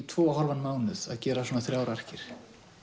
tvo og hálfan mánuð að gera svona þrjár arkir